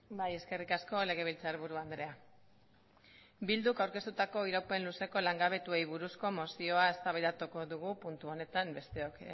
bai eskerrik asko legebiltzarburu andrea bilduk aurkeztutako iraupen luzeko langabetuei buruzko mozioa eztabaidatuko dugu puntu honetan besteok